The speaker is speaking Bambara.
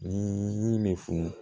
Ni yiri bɛ funu